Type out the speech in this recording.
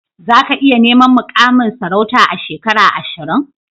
Za ka iya neman mukamin sarauta a shekara ashirin?